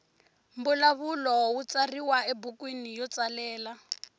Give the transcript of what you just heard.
mbulavulo wu tsariwa ebukwini yo tsalela